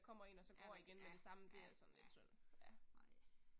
Ja ja ja ja nej